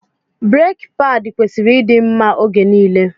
Breki paadi kwesịrị ịdị mma oge nile.